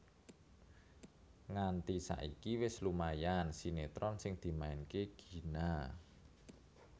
Nganti saiki wis lumayan sinetron sing dimainke Gina